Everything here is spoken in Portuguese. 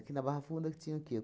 Aqui na Barra Funda que tinha o que?